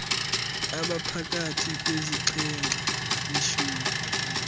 abaphakathi kwesixhenxe neshumi